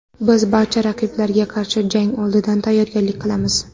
Biz barcha raqiblarga qarshi jang oldidan tayyorgarlik qilamiz.